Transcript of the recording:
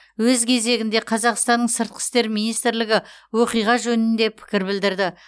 өз кезегінде қазақстанның сыртқы істер министрлігі оқиға жөнінде пікір білдірді